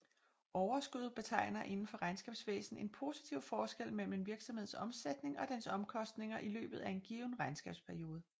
Overskud betegner indenfor regnskabsvæsen en positiv forskel mellem en virksomheds omsætning og dens omkostninger i løbet af en given regnskabsperiode